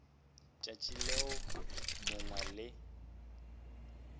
tšatši leo yo mongwe le